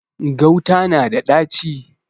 Gauta na da ɗaci.